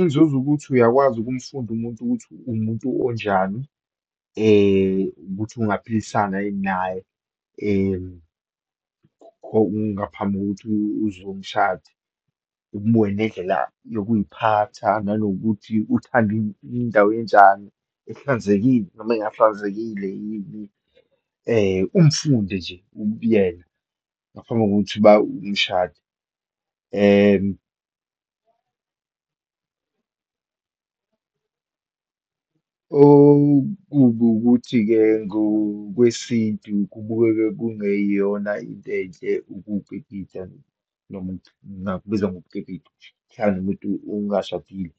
Inzuzo ukuthi uyakwazi ukumfunda umuntu ukuthi uwumuntu onjani, ukuthi ungaphilisana yini naye ngaphambi kokuthi uze uyomshada, umbuke nendlela yokuyiphatha, nanokuthi uthanda indawo enjani, ehlanzekile noma engahlanzekile yini, umfundi nje ubuyena ngaphambi kokuthi uba umshada. Okubi ukuthi-ke, ngokwesintu kubukeke kungeyona into enhle ukukipita, noma ngingakubiza ngokukipita, ukuhlala nomuntu ungashadile.